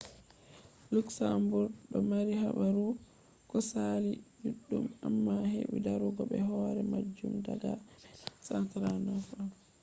luxembourg do mari habaru ko saali juddum amma hebi darugo be hore majum daga 1839 on